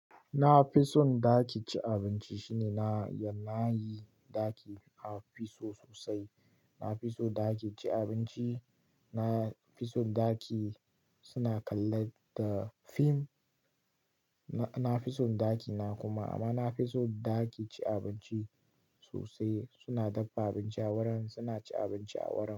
Na fi son ɗaki ci abinci shine na yana yi ɗaki a fi so sosai. Na fi so ɗaki ci abinci, na fi son ɗaki suna kalla da fim, na fi son ɗakina kuma amma na fi son ɗaki ci abinci sosai. Suna dafa abinci a wurin suna ci abinci a wurin.